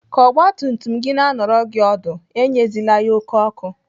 Ka ọgbatumtum gị na anọrọ gị ọdụ, enyezila ya oké ọkụ.